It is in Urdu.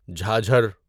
جھاجھر